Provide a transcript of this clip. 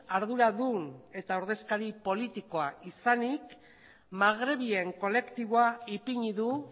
arduradun eta ordezkari politikoa izanik magrebien kolektiboa ipini du